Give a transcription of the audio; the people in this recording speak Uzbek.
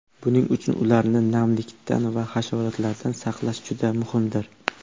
Buning uchun ularni namlikdan va hasharotlardan saqlash juda muhimdir.